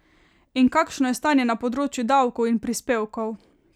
In kakšno je stanje na področju davkov in prispevkov?